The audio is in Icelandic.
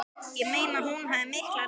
Ég meina að hún hafði mikla reynslu